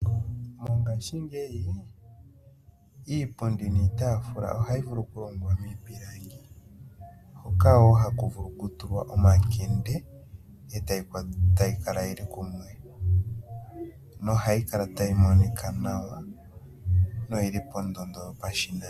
Mongashingeyi iipundi niitaafula ohayi vulu okulongwa miipilangi hoka wo haku vulu okutulwa omakende e tayi kala yi li kumwe nohayi kala tayi monika nawa noyi li pondondo yopashinanena.